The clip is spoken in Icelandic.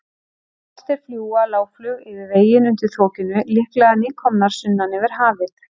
Álftir fljúga lágflug yfir veginn undir þokunni, líklega nýkomnar sunnan yfir hafið.